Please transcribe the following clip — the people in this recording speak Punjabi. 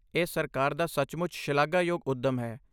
ਇਹ ਸਰਕਾਰ ਦਾ ਸਚਮੁੱਚ ਸ਼ਲਾਘਾਯੋਗ ਉੱਦਮ ਹੈ।